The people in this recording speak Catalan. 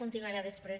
continuarem després